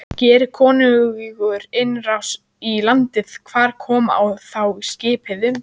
Geri konungur innrás í landið, hvar koma þá skipin upp?